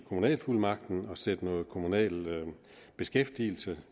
kommunalfuldmagten og sætte noget kommunal beskæftigelse